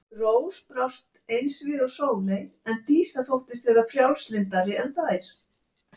Rós brást eins við og Sóley en Dísa þóttist vera frjálslyndari en þær.